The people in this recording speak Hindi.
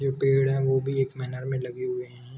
पेड़ है वो भी एक मीनार में लगे हुए हैं।